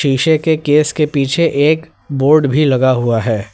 शीशे के केस के पीछे एक बोर्ड भी लगा हुआ है।